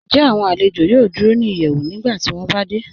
Ǹjẹ́ awọn alẹ̀jọ yòò dúró ni ìyẹ́wù nígbàtí wọn bá dẹ̀?